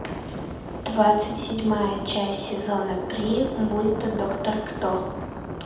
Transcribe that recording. двадцать седьмая часть сезона три мульта доктор кто